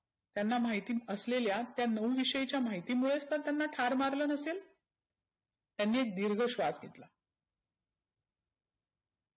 त्यांना महिती असलेल्या त्या नऊ विषयीच्या माहितीमुळे तर त्यांना ठार मारलं नसेल? त्यांनी एक दिर्घ श्वास घेतला.